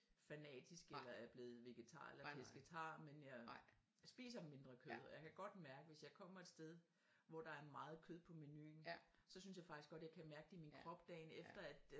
Fanatisk eller er blevet vegetar eller pescetar men jeg spiser mindre kød og jeg kan godt mærke hvis jeg kommer et sted hvor der er meget kød på menuen så synes jeg faktisk godt jeg kan mærke det i min krop dagen efter at øh